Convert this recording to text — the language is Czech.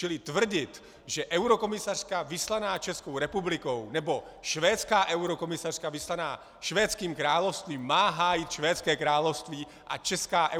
Čili tvrdit, že eurokomisařka vyslaná Českou republikou, nebo švédská eurokomisařka vyslaná Švédským královstvím má hájit Švédské království, a česká